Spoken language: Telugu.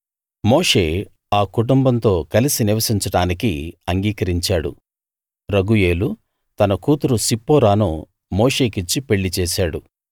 మోషే ఆ కుటుంబంతో కలిసి నివసించడానికి అంగీకరించాడు రగూయేలు తన కూతురు సిప్పోరాను మోషేకిచ్చి పెళ్లి చేశాడు